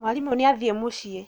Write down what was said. Mwarimũ nĩathiĩ mũciĩ